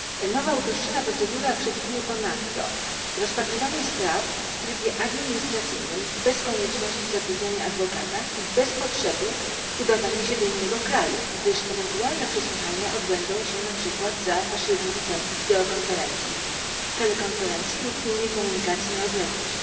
Nowa uproszczona procedura przewiduje ponadto rozpatrywanie spraw w trybie administracyjnym bez konieczności zatrudniania adwokata i bez potrzeby udawania się do innego kraju, gdyż ewentualne przesłuchania odbędą się na przykład za pośrednictwem wideokonferencji, telekonferencji lub innej komunikacji na odległość